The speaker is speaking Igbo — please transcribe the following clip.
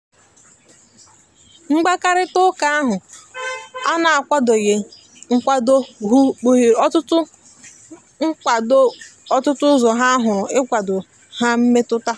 mgbakarita ụka ahu ana akwadoghi akwadokpuhere otụtụ akwadokpuhere otụtụ ụzọ ha huru ikwado na mmetụta.